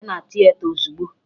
Bịa na tieta ozigbo!